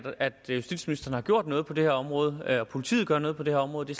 at justitsministeren har gjort noget på det her område og at politiet gør noget på det her område det